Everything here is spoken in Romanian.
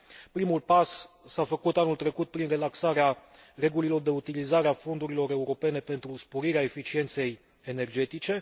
Primul pas s a făcut anul trecut prin relaxarea regulilor de utilizare a fondurilor europene pentru sporirea eficienței energetice.